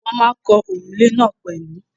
Wọ́n ma ń kan òrùlé náà pẹ̀lú..